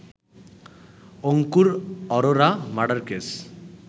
Ankur Arora murder case